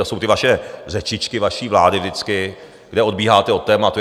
To jsou ty vaše řečičky, vaší vlády vždycky, kde odbíháte od tématu.